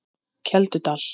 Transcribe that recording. Keldudal